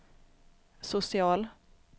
social